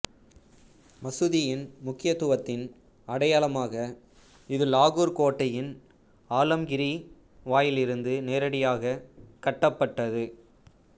மசூதியின் முக்கியத்துவத்தின் அடையாளமாக இது லாகூர் கோட்டையின் ஆலம்கிரி வாயிலிலிருந்து நேரடியாகக் கட்டப்பட்டது